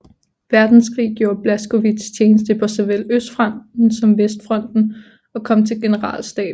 Verdenskrig gjorde Blaskowitz tjeneste på såvel Østfronten som Vestfronten og kom til generalstaben